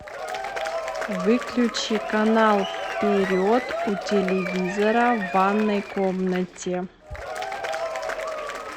выключи канал вперед у телевизора в ванной комнате